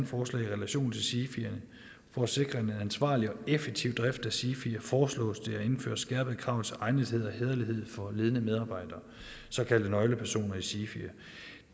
forslag i relation til sifier for at sikre en ansvarlig og effektiv drift af sifier foreslås det at indføre skærpede krav til egnethed og hæderlighed for ledende medarbejdere såkaldte nøglepersoner i sifier